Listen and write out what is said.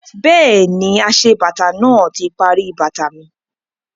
Bẹ́ẹ̀ni, aṣebàtà náà ti parí bàtà mi